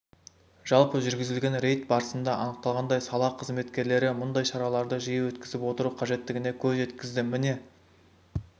жалпы жүргізілген рейд барысында анықталғандай сала қызметкерлері мұндай шараларды жиі өткізіп отыру қажеттігіне көз жеткізді міне